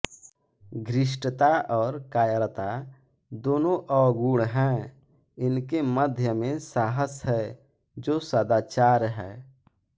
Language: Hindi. घृष्टता और कायरता दोनों अवगुण हैं इनके मध्य में साहस है जो सदाचार है